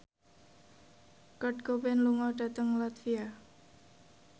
Kurt Cobain lunga dhateng latvia